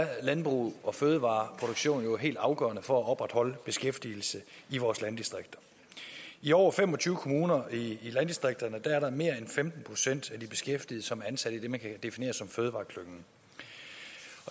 at landbrug og fødevareproduktion er helt afgørende for at opretholde beskæftigelsen i vores landdistrikter i over fem og tyve kommuner i landdistrikterne er der mere end femten procent af de beskæftigede som er ansat i det man kan definere som fødevareklyngen